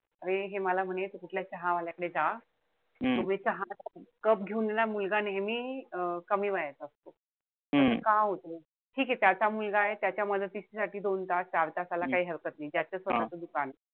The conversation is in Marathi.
तरी हे मला म्हणले तू तिथल्या चहा वाल्याकडे जा. पूर्वी चहाचा cup घेऊन ना मुलगा नेहेमी. कमी वयाचा असतो. असं का होत. ठीकेय, त्याचा मुलगाय, त्याच्या मदतीसाठी दोन तास, चार तासाला काई हरकत नाई. त्याच स्वतःच दुकान,